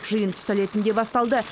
жиын түс әлетінде басталды